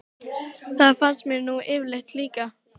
Það finnst mér nú yfirleitt líka.